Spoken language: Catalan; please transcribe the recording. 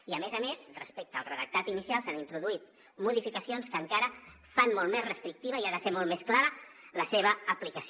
i a més a més respecte al redactat inicial s’han introduït modificacions que encara fan molt més restrictiva i ha de ser molt més clara la seva aplicació